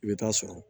I bɛ taa sɔrɔ